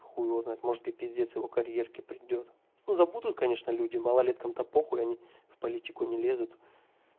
хуй его знает может и пиздец его карьерке придёт ну забудут конечно люди малолеткам-то похуй они в политику не лезут